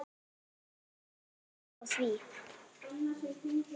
Ert þú sammála því?